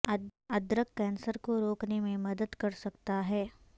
ادرک کینسر کو روکنے میں مدد کر سکتا ہے